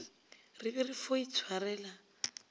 re be re fo itshwarela